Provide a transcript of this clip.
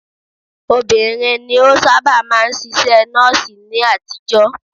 Obìnrin ni ó sáábà máa ń ṣiṣẹ́ Nọ́ọ̀sì ni àtijọ́.